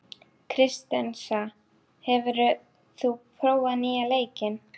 Kristensa, hefur þú prófað nýja leikinn?